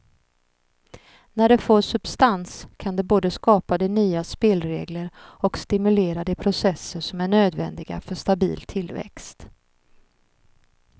När det får substans kan det både skapa de nya spelregler och stimulera de processer som är nödvändiga för stabil tillväxt.